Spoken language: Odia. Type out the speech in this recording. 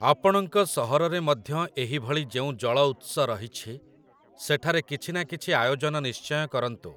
ଆପଣଙ୍କ ସହରରେ ମଧ୍ୟ ଏହିଭଳି ଯେଉଁ ଜଳଉତ୍ସ ରହିଛି, ସେଠାରେ କିଛି ନା କିଛି ଆୟୋଜନ ନିଶ୍ଚୟ କରନ୍ତୁ ।